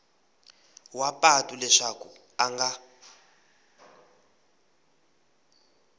wa patu leswaku a nga